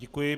Děkuji.